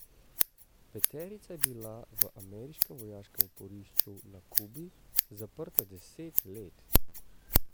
Peterica je bila v ameriškem vojaškem oporišču na Kubi zaprta deset let.